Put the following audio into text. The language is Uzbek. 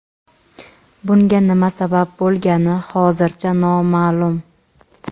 bunga nima sabab bo‘lgani hozircha noma’lum.